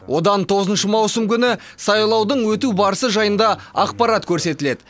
одан тоғызыншы маусым күні сайлаудың өту барысы жайында ақпарат көрсетіледі